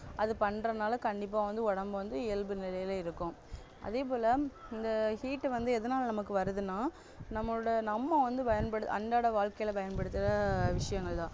அது பண்ணுறதுனால கண்டிப்பா வந்து உடம்பு வந்து இயல்பு நிலைல இருக்கும் அதேபோல இங்க heat வந்து எதனால நமக்கு வருதுன்னா நம்மளோட நம்ம வந்து பயன்படு~அன்றாட வாழ்க்கைல பயன்படுத்துற விஷயங்கள்தான்